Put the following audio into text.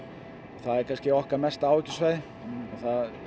það er kannski okkar mesta áhyggjusvæði það